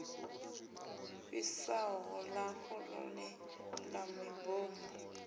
fhisaho ḓaka ḽoṱhe ḽa mibomo